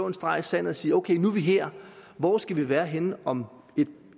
en streg i sandet og sige ok nu er vi her hvor skal vi være henne om et